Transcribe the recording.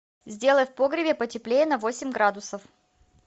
сделай в погребе потеплее на восемь градусов